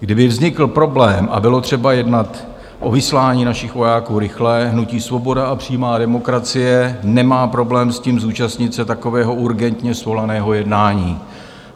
Kdyby vznikl problém a bylo třeba jednat o vyslání našich vojáků rychle, hnutí Svoboda a přímá demokracie nemá problém s tím, zúčastnit se takového urgentně svolaného jednání.